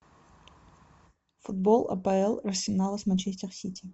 футбол апл арсенал с манчестер сити